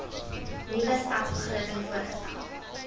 nuwe stadsbegroting voorgestel